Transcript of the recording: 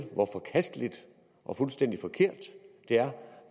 hvor forkasteligt og fuldstændig forkert det er